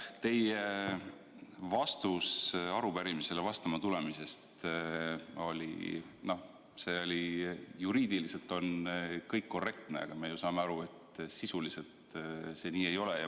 Teie vastus arupärimisele vastama tulemise kohta – juriidiliselt on kõik korrektne, aga me saame aru, et sisuliselt see nii ei ole.